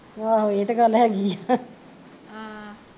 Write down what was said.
ਆਹੋ ਏਹ ਤੇ ਗੱਲ ਹੈਗੀ ਆ ਆਹ